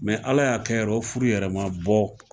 Mɛ ala y'a kɛ yɛrɛ o furu bɔ